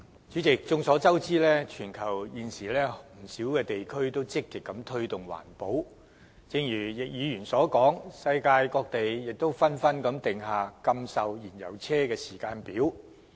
主席，眾所周知，全球現時不少地區均積極推動環保，正如易議員所說，世界各地亦紛紛訂下禁售燃油車的時間表。